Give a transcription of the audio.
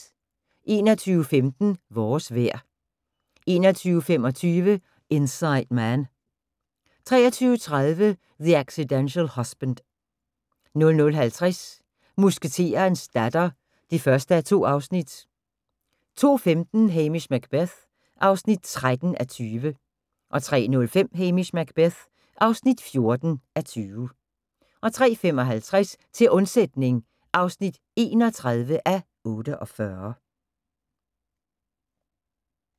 21:15: Vores vejr 21:25: Inside Man 23:30: The Accidental Husband 00:50: Musketerens datter (1:2) 02:15: Hamish Macbeth (13:20) 03:05: Hamish Macbeth (14:20) 03:55: Til undsætning (31:48)